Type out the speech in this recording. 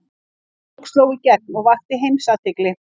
Sú bók sló í gegn og vakti heimsathygli.